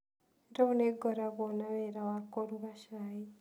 Rĩu nĩ ngoragwo na wĩra wa kũruga cai.